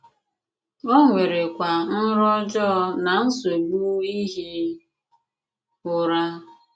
O nwèrèkwa nrọ ọjọọ na nsọ̀bù ìhì ùrà.